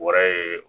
Wɛrɛ ye